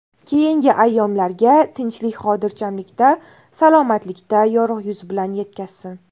Keyingi ayyomlarga tinchlik-xotirjamlikda, salomatlikda, yorug‘ yuz bilan yetkazsin.